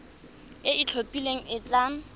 e e itlhophileng e tla